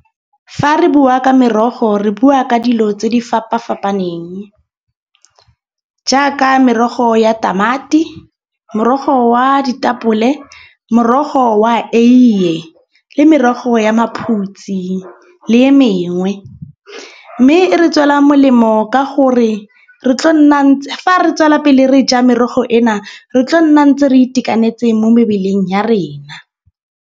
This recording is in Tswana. Fa re bua ka merogo re bua ka dilo tse di fapafapaneng. Jaaka merogo ya tamati, morogo wa ditapole, morogo wa eiye le merogo ya maphutsi le e mengwe. Mme e re tswela molemo ka gore re tlo nna, fa re tswela pele re ja merogo ena re tlo nna ntse re itekanetseng mo mebeleng ya rena.